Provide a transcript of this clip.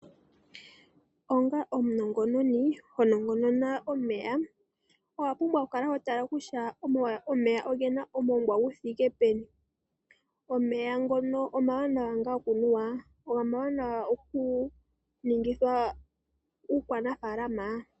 Onga omunongononi honongonona omeya, owapumbwa okukala hotala kutya omeya ogena omoongwa guthike peni, omeya ngono omawanawa ngaa okunuwa, go omawanawa okuningithwa uukwanafaalama?